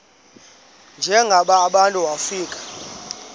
njengaba bantu wofika